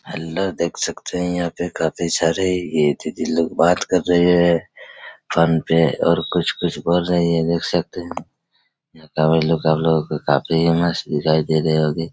हल्ला देख सकते है यहाँ पे काफी सारे ये दीदी लोग बात कर रहे है फ़ोन पे और कुछ कुछ बोल रही है देख सकते है। सब लोगो को काफी मस्त दिखाई दे रही होगी।